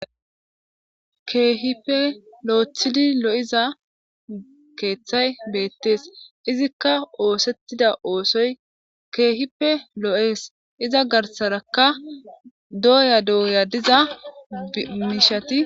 keehipe loethidi loyza keeththay beettees izikka oosettida oosoy keehipe loo;es iza garsarakka dooya dooya diza miishati.